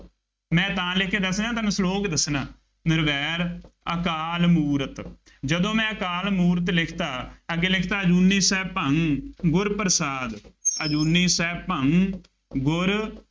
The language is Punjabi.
ਮੈਂ ਤਾਂ ਲਿਖ ਕੇ ਦੱਸ ਰਿਹਾਂ ਤੁਹਾਨੂੰ slow ਹੋ ਕੇ ਦੱਸਣਾ, ਨਿਰਵੈਰੁ ਅਕਾਲ ਮੂਰਤਿ ਜਦੋ ਮੈਂ ਅਕਾਲ ਮੂਰਤਿ ਲਿਖਤਾ, ਅੱਗੇ ਲਿਖਤਾ ਅਜੂਨੀ ਸੈਭੰ ਗੁਰ ਪ੍ਰਸਾਦਿ, ਅਜੂਨੀ ਸੈਭੰ ਗੁਰ